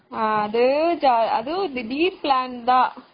அது, அது திடீர் plan தான்.